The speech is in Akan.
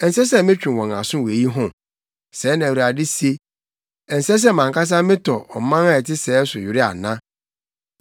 Ɛnsɛ sɛ metwe wɔn aso wɔ eyi ho?” Sɛɛ na Awurade se. “Ɛnsɛ sɛ mʼankasa metɔ ɔman a ɛte sɛɛ so were ana?